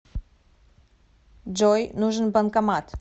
джой нужен банкомат